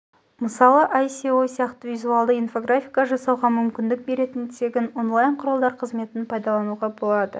мысалы оі іе сеае іоа іоса сияқты визуалды инфографика жасауға мүмкіндік беретін тегін онлайн құралдар қызметін пайдалануға болады